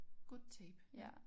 Good Tape ja